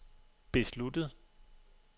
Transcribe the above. besluttet